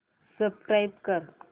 subscribe कर